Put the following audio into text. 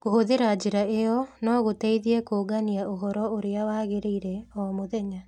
Kũhũthĩra njĩra ĩyo no gũteithie kũũngania ũhoro ũrĩa wagĩrĩire o mũthenya.